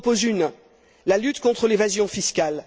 J'en propose une la lutte contre l'évasion fiscale.